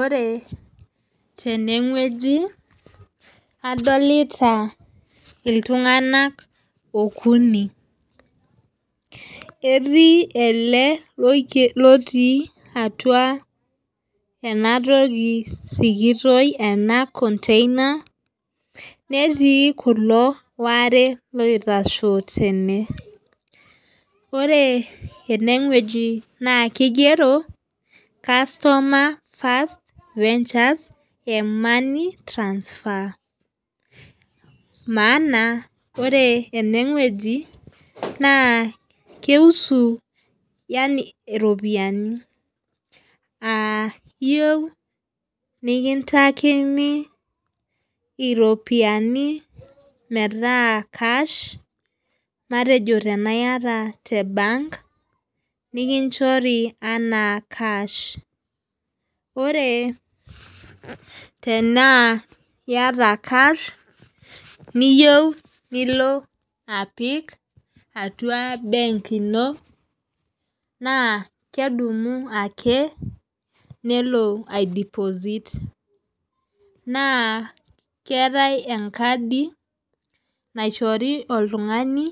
Ore tene weji adolita itunganak okuni. Etii ele loti atua ena toki sikitoi ena container, neeti kulo ware loitashe teneweji. Ore ene weji naa kigero customer first ventures M-Money transfer. Maana ore eneweji naa kei husu yaani iropiani. Aa iyeu nikintakini iropiani meeta cash matejo tena iyata te bank nekinchori anaa cash. Ore tenaa iyata cash niyeu nilo apik atua bank ino naa kedumu ake nelo ai deposit naa keetae enkadu naishori oltung'ani